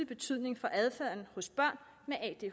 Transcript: betydning for adfærden hos børn